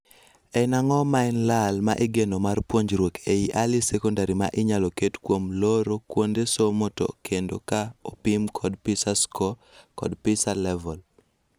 En ang'o ma en lal ma igeno mar puonjruok ei early secondary ma inyalo ket kuom looro kuonde somo to kendo ka opim klod PISA score kod PISA level?